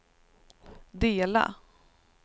dela